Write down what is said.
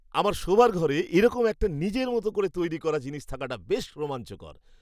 আমার শোবার ঘরে এরকম একটা নিজের মতো করে তৈরী করা জিনিস থাকাটা বেশ রোমাঞ্চকর।